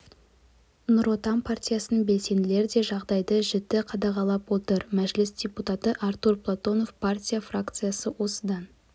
нұр отан партиясының белсенділері де жағдайды жіті қадағалап отыр мәжіліс депутаты артур платонов партия фракциясы осыдан